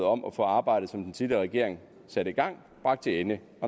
om at få arbejdet som den tidligere regering satte i gang bragt til ende